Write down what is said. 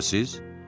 Şübhəsiz.